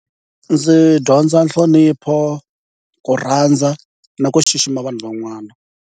Ndzi dyondza nhlonipho, ku rhandza na ku xixima vanhu van'wana.